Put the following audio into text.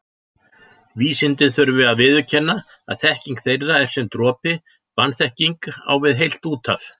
Vísindin þurfi að viðurkenna að þekking þeirra er sem dropi, vanþekkingin á við heilt úthaf.